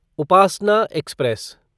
Upasana express